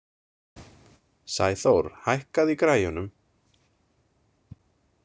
Sæþór, hækkaðu í græjunum.